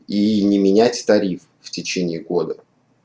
и не менять тариф в течение года